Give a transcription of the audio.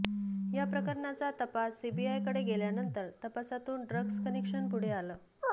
या प्रकरणाचा तपास सीबीआयकडे गेल्यानंतर तपासातून ड्रग्ज कनेक्शन पुढे आलं